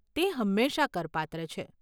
તે હંમેશા કરપાત્ર છે.